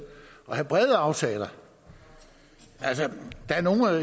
og have brede aftaler der er nogle af